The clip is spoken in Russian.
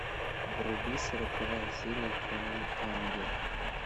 вруби сороковая серия темный ангел